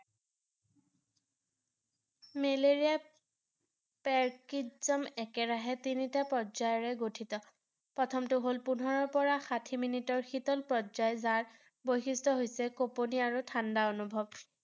মেলেৰিয়াত একেৰাহে তিনিটা পৰ্যায়েৰে গঠিত ৷ প্ৰথমটো হ’ল পোন্ধৰৰ পৰা ষাঠি minute শীতল পৰ্যায় যাক বৈশিষ্ট্য হৈছে, কঁপনি আৰু ঠাণ্ডা অনুভৱ ৷